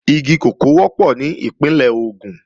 Igi kòkó wọ́pọ̀ ní Ìpínlẹ̀ Ògùn